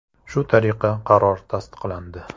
Shu tariqa qaror tasdiqlandi.